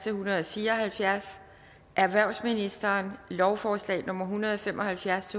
en hundrede og fire og halvfjerds erhvervsministeren lovforslag nummer hundrede og fem og halvfjerds